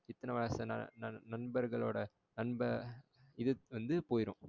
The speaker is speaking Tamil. இத்தனை வருட நண்ப நண்பர்களோட நண்ப இது வந்து போய்டும்.